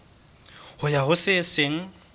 ho ya ho se seng